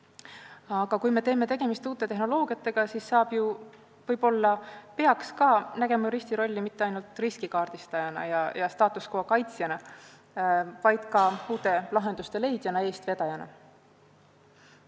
Aga kui me teeme tegemist uute tehnoloogiatega, siis saab ju ja võib-olla tulekski näha juristi rolli mitte ainult riski kaardistajana ja status quo kaitsjana, vaid ka uute lahenduste leidjana, eestvedajana.